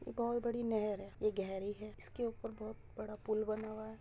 ये बहुत बड़ी नहर है। ये गहरी है। इसके ऊपर बहुत बड़ा पुल बना हुआ है।